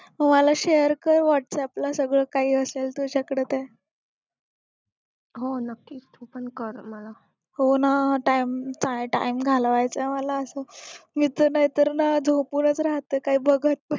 मग मला share कर whats app ला सगळं काही असेल तुझ्याकडे ते हो ना time घालवायचा मला असं मी तर नाय तर ना झोपूनच राहते काय बघत